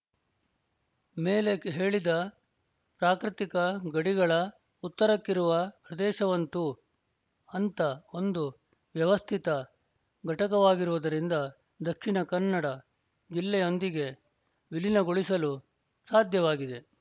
ಮೇಲೆ ಹೇಳಿದ ಪ್ರಾಕೃತಿಕ ಗಡಿಗಳ ಉತ್ತರಕ್ಕಿರುವ ಪ್ರದೇಶವಂತೂ ಅಂಥ ಒಂದು ವ್ಯವಸ್ಥಿತ ಘಟಕವಾಗಿರುವುದರಿಂದ ದಕ್ಷಿಣ ಕನ್ನಡ ಜಿಲ್ಲೆಯೊಂದಿಗೆ ವಿಲೀನಗೊಳಿಸಲು ಸಾಧ್ಯವಾಗಿದೆ